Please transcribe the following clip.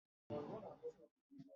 Wọ́n fi ẹ̀sùn ìpànìyàn kan wálé.